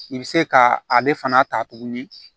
I bɛ se ka ale fana ta tuguni